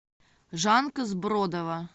жанка сбродова